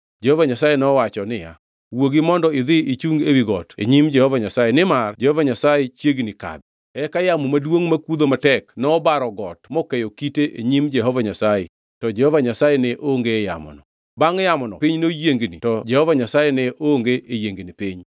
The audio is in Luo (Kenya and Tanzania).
Jehova Nyasaye nowacho niya, “Wuogi mondo idhi ichungi ewi got e nyim Jehova Nyasaye, nimar Jehova Nyasaye chiegni kadho.” Eka yamo maduongʼ makudho matek nobaro got mokeyo kite e nyim Jehova Nyasaye, to Jehova Nyasaye ne onge e yamono. Bangʼ yamono piny noyiengni, to Jehova Nyasaye ne onge e yiengni pinyno.